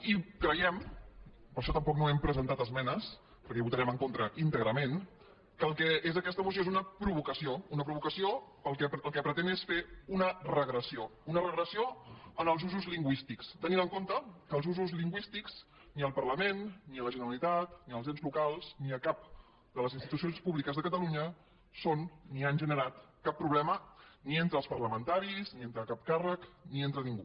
i creiem per això tampoc no hi hem presentat esmenes perquè hi votarem en contra íntegrament que el que és aquesta moció és una provocació una provocació que el que pretén és fer un regressió una regressió en els usos lingüístics tenint en compte que els usos lingüístics ni al parlament ni a la generalitat ni als ens locals ni a cap de les institucions públiques de catalunya són ni han generat cap problema ni entre els parlamentaris ni entre cap càrrec ni entre ningú